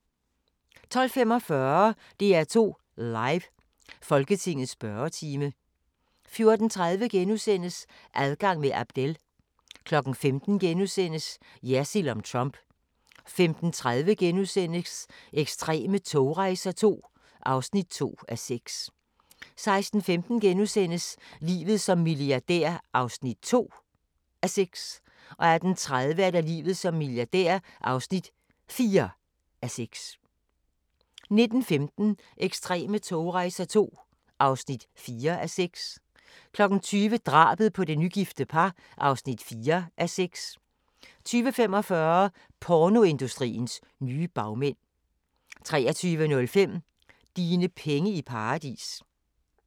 12:45: DR2 Live: Folketingets spørgetime 14:30: Adgang med Abdel * 15:00: Jersild om Trump * 15:30: Ekstreme togrejser II (2:6)* 16:15: Livet som milliardær (2:6)* 18:30: Livet som milliardær (4:6) 19:15: Ekstreme togrejser II (4:6) 20:00: Drabet på det nygifte par (4:6) 20:45: Pornoindustriens nye bagmænd 23:05: Dine penge i paradis